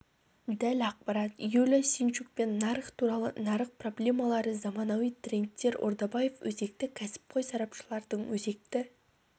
дәл ақпарат юлия синчукпен нарық туралы нарық проблемалары заманауи трендтер ордабаев өзекті кәсіпқой сарапшылардың өзекті